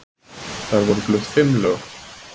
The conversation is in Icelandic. Þar voru flutt fimm lög